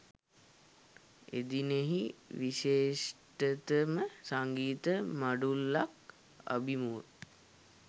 එදිනෙහි විශිෂ්ඨතම සංගීත මඬුල්ලක් අභිමුව